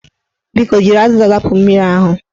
Biko, jiri azịza zapụ mmiri ahụ